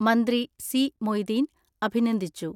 മന്ത്രി സി.മൊയ്തീൻ അഭിനന്ദിച്ചു.